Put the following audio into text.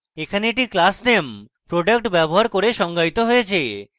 এখানে এটি class name product ব্যবহার করে সংজ্ঞায়িত হয়েছে